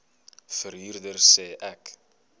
verhuurder sê ek